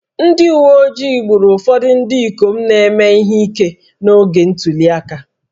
Ndị uwe ojii gburu ụfọdụ ndị ikom na-eme ihe ike n'oge ntuli aka